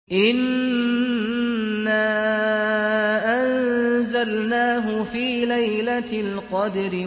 إِنَّا أَنزَلْنَاهُ فِي لَيْلَةِ الْقَدْرِ